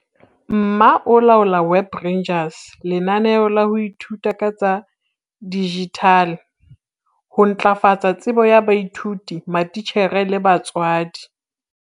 MMA e laola Web Rangers, lenaneo la ho ithuta ka tsa dijithale ho ntlafatsa tsebo ya baithuti, matitjhere le batswadi.